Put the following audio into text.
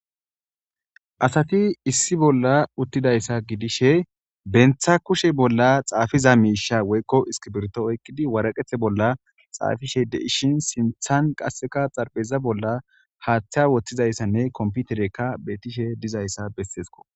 asati issi bolla uttidayssa gidishe bentha kushe bolla xaafiza miisha woykko iskibirto oykkidi waraqethe bolla xaafishe de ishin sinthan qasseka xarpheza bolla haaththiya woththizayssanne komputerekka beetishe dizayssa bessesko